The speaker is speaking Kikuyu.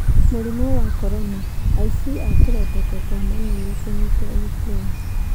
Mũrimũ wa Corona: Aici a tũrembeko twa maniũrũ kũnyitwo Ukraine.